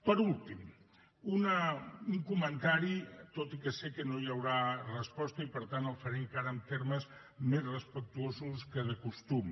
per acabar un comentari tot i que sé que no hi haurà resposta i per tant el faré encara en termes més respectuosos que de costum